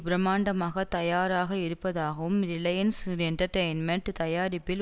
பிரமாண்டமாக தயாராக இருப்பதாகவும் ரிலையன்ஸ் என்டர்டெய்ன்மெண்ட் தயாரிப்பில்